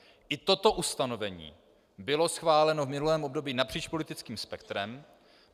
I toto ustanovení bylo schváleno v minulém období napříč politickým spektrem.